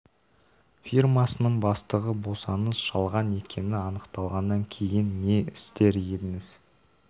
фирмасының бастығы болсаңыз жалған екені анықталғаннан кейін не істер едіңіз